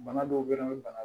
Bana dɔw bɛ yen bana